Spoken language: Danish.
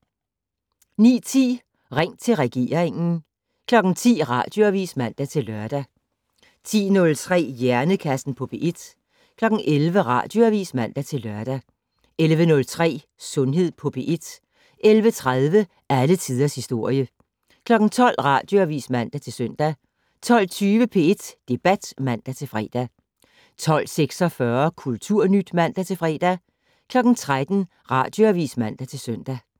09:10: Ring til regeringen 10:00: Radioavis (man-lør) 10:03: Hjernekassen på P1 11:00: Radioavis (man-lør) 11:03: Sundhed på P1 11:30: Alle tiders historie 12:00: Radioavis (man-søn) 12:20: P1 Debat (man-fre) 12:46: Kulturnyt (man-fre) 13:00: Radioavis (man-søn)